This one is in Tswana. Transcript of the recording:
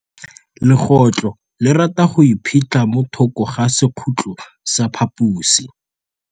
Legôtlô le rata go iphitlha mo thokô ga sekhutlo sa phaposi.